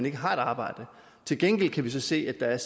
ikke har et arbejde til gengæld kan vi så se at der er